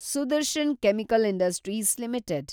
Sudarshan chemical industries limited